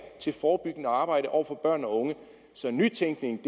til forebyggende arbejde over for børn og unge så nytænkning